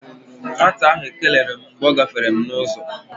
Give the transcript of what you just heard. Nwata ahụ ekeneghi m mgbe ọ gáfèrè m n'uzo